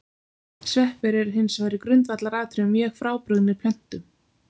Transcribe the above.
Sveppir eru hins vegar í grundvallaratriðum mjög frábrugðnir plöntum.